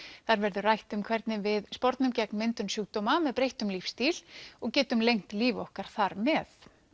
þar verður rætt um hvernig við spornum gegn myndun sjúkdóma með breyttum lífstíl og getum lengt líf okkar þar með